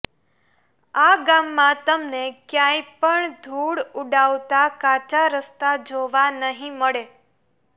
આ ગામમાં તમને ક્યાંય પણ ધૂળ ઉડાવતાં કાચાં રસ્તા જોવા નહીં મળે